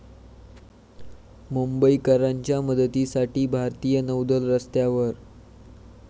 मुंबईकरांच्या मदतीसाठी भारतीय नौदल रस्त्यावर